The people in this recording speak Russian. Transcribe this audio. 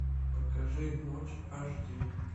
покажи ночь аш ди